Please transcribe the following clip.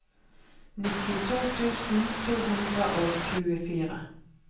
nittito tusen to hundre og tjuefire